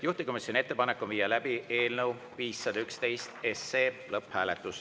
Juhtivkomisjoni ettepanek on viia läbi eelnõu 511 lõpphääletus.